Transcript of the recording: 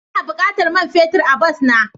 Ina bukatan man fetur a bas na.